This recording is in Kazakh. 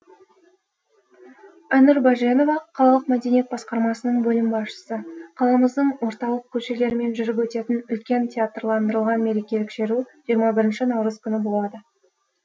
айнұр баженова қалалық мәдениет басқармасының бөлім басшысы қаламыздың орталық көшелерімен жүріп өтетін үлкен театрландырылған мерекелік шеру жиырма бірінші наурыз күні болады